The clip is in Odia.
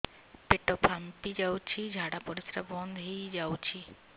ପେଟ ଫାମ୍ପି ଯାଉଛି ଝାଡା ପରିଶ୍ରା ବନ୍ଦ ହେଇ ଯାଉଛି